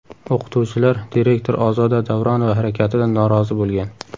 O‘qituvchilar direktor Ozoda Davronova harakatidan norozi bo‘lgan.